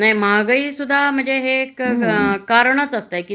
महागाई सुद्धा म्हणजे हे एक कारणच असतात की